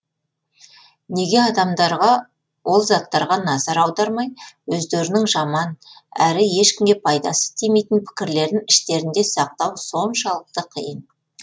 неге адамдарға ол заттарға назар аудармай өздерінің жаман әрі ешкімге пайдасы тимейтін пікірлерін іштерінде сақтау соншалықты қиын